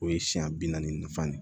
O ye siɲɛ bi naani nafa de ye